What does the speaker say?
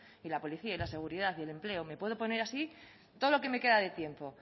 y la policía y la seguridad y el empleo me puedo poner así todo lo que me queda de tiempo